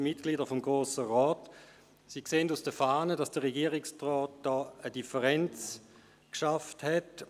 Sie ersehen aus der Fahne, dass der Regierungsrat eine Differenz geschaffen hat.